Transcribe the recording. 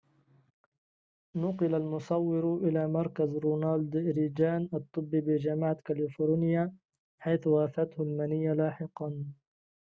نُقل المصور إلى مركز رونالد ريجان الطبي بجامعة كاليفورنيا حيث وافته المنية لاحقاً